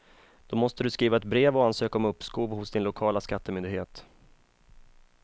Då måste du skriva ett brev och ansöka om uppskov hos din lokala skattemyndighet.